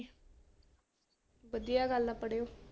ਵਧੀਆ ਗੱਲ ਆ ਪੜ੍ਹਿਓ।